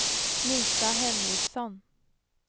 Lisa Henriksson